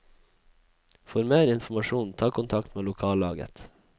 For mer informasjon ta kontakt med lokallaget.